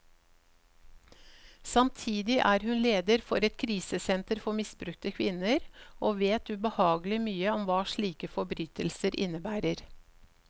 Samtidig er hun leder for et krisesenter for misbrukte kvinner, og vet ubehagelig mye om hva slike forbrytelser innebærer.